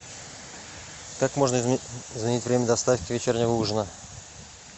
как можно изменить время доставки вечернего ужина